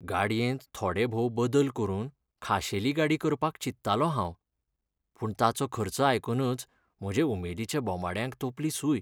गाडयेंत थोडेभोव बदल करून खाशेली गाडी करपाक चिंत्तालों हांव. पूण ताचो खर्च आयकूनच म्हजे उमेदीच्या बोमाड्याक तोंपली सूय...